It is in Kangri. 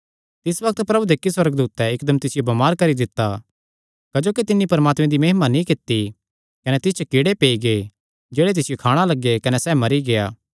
तिस बग्त प्रभु दे इक्की सुअर्गदूतैं इकदम तिसियो बमार करी दित्ता क्जोकि तिन्नी परमात्मे दी महिमा नीं कित्ती कने तिस च कीड़े पेई गै जेह्ड़े तिसियो खाणा लग्गे कने सैह़ मरी गेआ